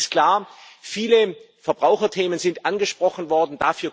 Denn eins ist klar Viele Verbraucherthemen sind angesprochen worden.